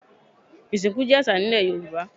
Ìsìnkú jẹ́ àṣà ní ilẹ̀ Yorùbá.